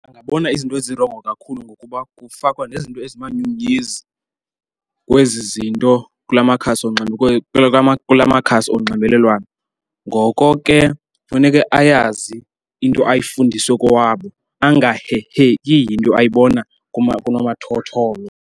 Angabona izinto ezirongo kakhulu ngokuba kufakwa nezinto ezimanyumnyezi kwezi zinto kula makhasi onxibelelwano. Ngoko ke funeke ayazi into ayifundiswe kowabo angaheheki yinto ayibona kunomathotholo.